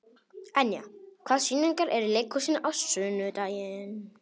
Enja, hvaða sýningar eru í leikhúsinu á sunnudaginn?